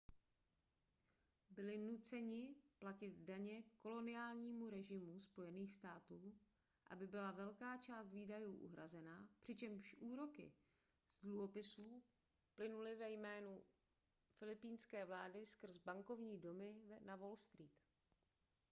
byli nuceni platit daně koloniálnímu režimu spojených států aby byla velká část výdajů uhrazena přičemž úroky z dluhopisů plynuly ve jménu filipínské vlády skrze bankovní domy na wall street